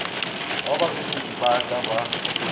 wa babegedi ba ka ba